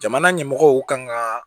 Jamana ɲɛmɔgɔw kan ka